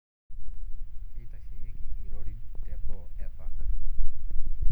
Keitasheyieki irorin te boo e pak.